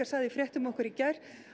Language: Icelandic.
sagði í fréttum okkar í gær